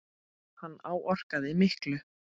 Hann áorkaði miklu.